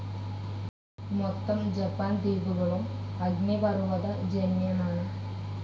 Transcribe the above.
മൊത്തം ജപ്പാൻ ദ്വീപുകളും അഗ്നിപർവതജന്യമാണ്‌.